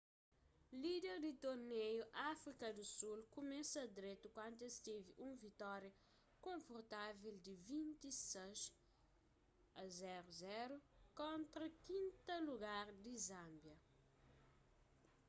líder di tornéiu áfrika di sul kumesa dretu kantu es tevi un vitória konfortavel di 26 - 00 kontra 5ª lugar di zânbia